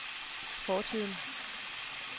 fortiden